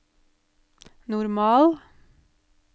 normal